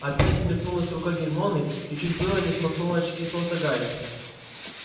опять взметнулась рука гермионы и чуть было не смахнула очки с носа гарри